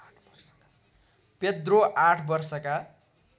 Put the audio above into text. Pedro ८ वर्षका